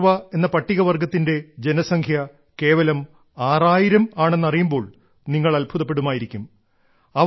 കോർവ എന്ന പട്ടികവർഗ്ഗത്തിന്റെ ജനസംഖ്യ കേവലം 6000 ആണെന്ന് അറിയുമ്പോൾ നിങ്ങൾ അത്ഭുതപ്പെടുമായിരിക്കും